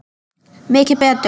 Mikið betur.